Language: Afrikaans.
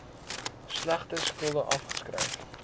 slegte skulde afgeskryf